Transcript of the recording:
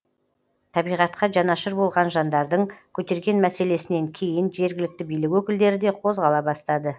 табиғатқа жанашыр болған жандардың көтерген мәселесінен кейін жергілікті билік өкілдері де қозғала бастады